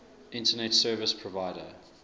internet service provider